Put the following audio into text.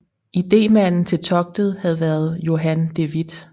Idémanden til togtet havde været Johan de Witt